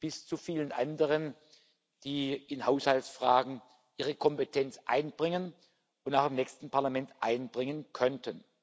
bis zu vielen anderen, die in Haushaltsfragen ihre Kompetenz einbringen und auch im nächsten Parlament einbringen könnten.